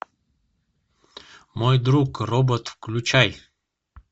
мой друг робот включай